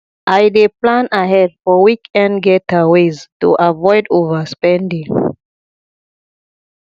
i dey plan ahead for weekend getaways to avoid overspending